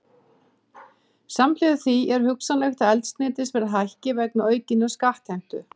Samhliða því er hugsanlegt að eldsneytisverð hækki vegna aukinnar skattheimtu.